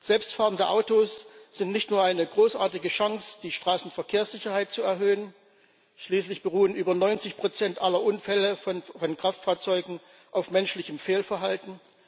Selbstfahrende Autos sind nicht nur eine großartige Chance, die Straßenverkehrssicherheit zu erhöhen schließlich beruhen über 90 Prozent aller Unfälle von Kraftfahrzeugen auf menschlichem Fehlverhalten.